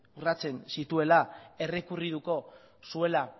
urratzen zituela errekurrituko zuela